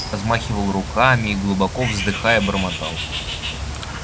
размахивал руками и глубоко вздыхая бормотал